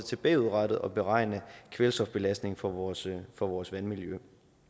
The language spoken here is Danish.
til bagudrettet at beregne kvælstofbelastningen for vores for vores vandmiljø